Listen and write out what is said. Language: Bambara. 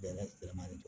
Bɛnɛ bilenman de don